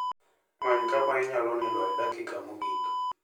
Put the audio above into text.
Many kama inyalo nindoe e dakika mogik.